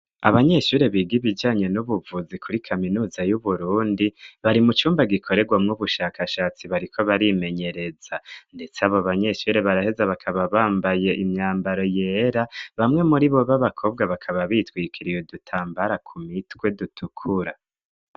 Abanyeshuri biga ibijanye n'ubuvuzi kuri kaminuza y'uburundi bari mu cumba gikorerwamwo ubushakashatsi bariko barimenyereza, ndetse abo banyeshuri baraheza bakaba bambaye imyambaro yera bamwe muri bo b'abakobwa bakaba bitwikiriye dutambara ku mitwe dutukura.